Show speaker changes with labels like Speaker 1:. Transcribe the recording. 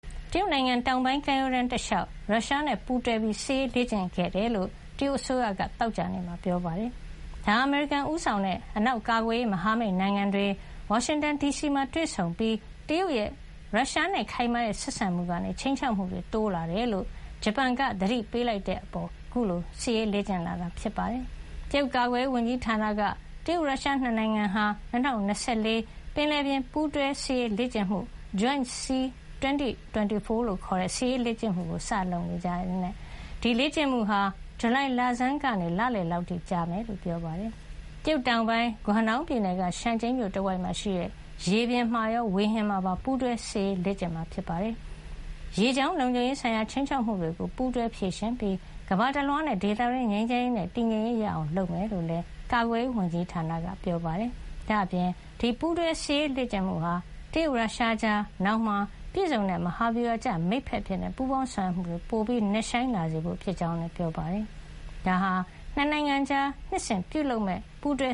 Speaker 1: တရုတ်နိုင်ငံတောင်ပိုင်း ကမ်းရိုးတန်းတလျှောက် ရုရှားနဲ့ ပူးတွဲစစ်ရေးလေ့ကျင့်ခဲ့တယ်လို့ တရုတ်အစိုးရက သောကြာနေ့မှာ ပြောပါတယ်။ ဒါဟာ အမေရိကန်ဦးဆောင်တဲ့ အနောက် ကာကွယ်ရေးမဟာမိတ်နိုင်ငံတွေ ဝါရှင်တန်ဒီမှာတွေ့ဆုံခဲ့ပြီး၊ တရုတ်ရဲ့ ရုရှားနဲ့ခိုင်မာတဲ့ ဆက်ဆံမှုကနေ ခြိမ်းခြောက်မှုတွေ တိုးလာနေတယ်လို့ ဂျပန်က သတိပေးလိုက်တဲ့နောက်မှာ အခုလို စစ်ရေး လေ့ကျင့်လာတာ ဖြစ်ပါတယ်။ တရုတ်ကာကွယ်ရေးဝန်ကြီးဌာနက တရုတ်-ရုရှား ၂ နိုင်ငံဟာ ၂၀၂၄ - ပင်လယ်ပြင် ပူးတွဲစစ်ရေး လေ့ကျင့်မှု (Joint Sea – 2024) လို့ခေါ်တဲ့ စစ်ရေးလေ့ကျင့်မှုကို စတင်ပြုလုပ်နေကြောင်းနဲ့ ဒီလေ့ကျင့်မှုဟာ ဇူလိုင်လဆန်းကနေ လလယ်လောက်အထိ ကြာမြင့်မှာဖြစ်ကြောင်း ပြောပါတယ်။ တရုတ်တောင်ပိုင်း ဂွမ်ဒေါင်းပြည်နယ်က ရှန်ကျိန်းမြို့ တဝိုက်မှာရှိတဲ့ ရေပြင်မှာရော ဝေဟင်မှာပါ ပူးတွဲ စစ်ရေးလေ့ကျင့်မှာဖြစ်ပြီး ရေကြောင်းလုံခြုံရေးဆိုင်ရာ ခြိမ်းခြောက်မှုတွေကို ပူးတွဲဖြေရှင်းပြီး ကမ္ဘာတလွှားနဲ့ ဒေသတွင်း ငြိမ်းချမ်းရေးနဲ့ တည်ငြိမ်ရေး ရလာအောင် လုပ်ဆောင်မှာဖြစ်ကြောင်းလည်း ကာကွယ်ရေးဝန်ကြီးဌာနက ပြောပါတယ်။ ဒါ့အပြင် ဒီပူးတွဲ စစ်ရေးလေ့ကျင့်မှုဟာ တရုတ်-ရုရှားကြား နောင်မှာ ပြည့်စုံတဲ့မဟာဗျူဟာကျ မိတ်ဘက်အဖြစ် ပူးပေါင်းဆောင်ရွက်မှုတွေ ပိုပြီး နက်ရှိုင်းလာစေဖို့ ဖြစ်ကြောင်းလည်း ပြောပါတယ်။ ဒါဟာ ၂ နိုင်ငံကြား နှစ်စဉ်ပြုလုပ်မယ့် ပူးတွဲ